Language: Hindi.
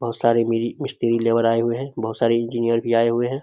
बहुत सारे मिरी मिस्त्री लेबर मजदूर आए हुए हैं बहुत सारे इंजीनियर भी आए हुए हैं।